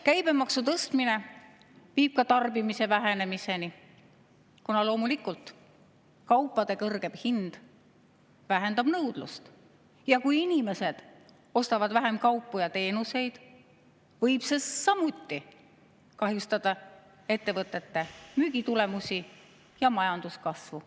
Käibemaksu tõstmine viib ka tarbimise vähenemiseni, kuna loomulikult kaupade kõrgem hind vähendab nõudlust, ning kui inimesed ostavad vähem kaupu ja teenuseid, võib see samuti kahjustada ettevõtete müügitulemusi ja majanduskasvu.